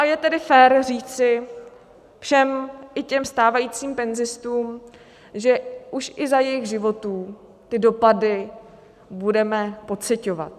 A je tedy fér říci všem, i těm stávajícím penzistům, že už i za jejich životů ty dopady budeme pociťovat.